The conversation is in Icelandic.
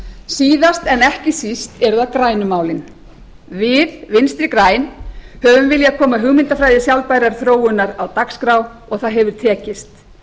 síðast en ekki síst eru það grænu málin við vinstri græn höfum viljað koma hugmyndafræði sjálfbærrar þróunar á dagskrá og það hefur tekist